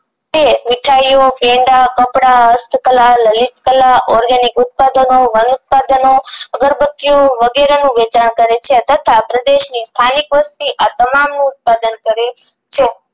તે મીઠાયીઓ પેંડા કપડાં હસ્તકળા લલિતકલા ઓર્ગેનિક ઉત્પાદનો વન ઉત્પાદનો અગરબતીઓ વગેરે નું વેચાણ કરે છે તથા પ્રદેશ ની સ્થાનિક વસ્તી આ તમામ નું ઉત્પાદન કરે છે